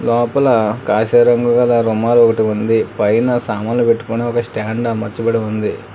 లోపల కాషాయ రంగు గల రూమా ఒకటి ఉంది పైన సామాన్లు పెట్టుకునే ఒక స్టాండ్ అమర్చబడి ఉంది.